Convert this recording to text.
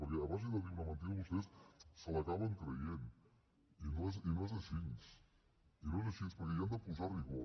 perquè a base de dir una mentida vostès se l’acaben creient i no és així i no és així perquè hi han de posar rigor